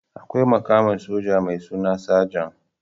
Akwai mukamin soja mai suna sajan